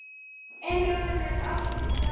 Innra með mér átti sér stað barátta.